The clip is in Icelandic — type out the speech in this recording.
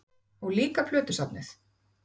Og líka plötusafnið?